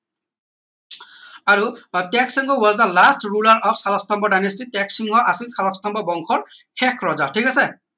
আৰু ah Tyagasimha was the of Salastambha dynasty Tyagasimha আছিল শালস্তম্ভ বংশৰ শেষ ৰজা ঠিক আছে